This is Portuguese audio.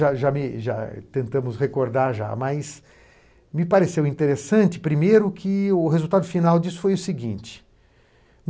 ja me ja tentamos recordar já, mas me pareceu interessante, primeiro, que o resultado final disso foi o seguinte.